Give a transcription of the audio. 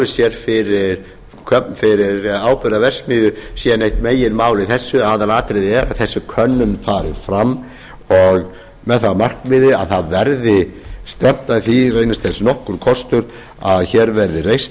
sér fyrir áburðarverksmiðju sé neitt meginmál í þessu aðalatriðið er að þessi könnun fari fram með það að markmiði að það verði stefnt að því reynist þess nokkur kostur að hér verði reist